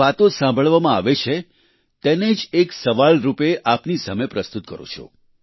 જે વાતો સાંભળવામાં આવે છે તેને જ એક સવાલ રૂપે આપની સામે પ્રસ્તુત કરું છું